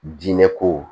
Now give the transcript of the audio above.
Diinɛ ko